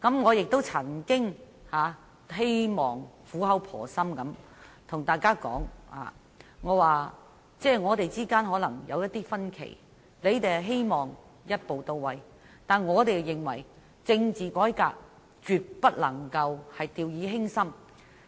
我曾苦口婆心對大家說，我們之間可能有一些分歧，他們希望一步到位，而我們則認為政治改革絕不能掉以輕心，